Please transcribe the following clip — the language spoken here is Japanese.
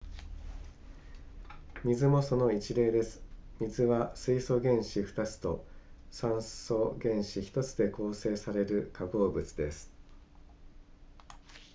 水もその一例です水は水素原子2つと酸素原子1つで構成される化合物です